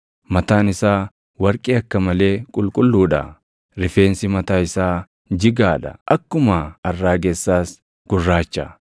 Mataan isaa warqee akka malee qulqulluu dha; rifeensi mataa isaa jigaa dha; akkuma arraagessaas gurraacha.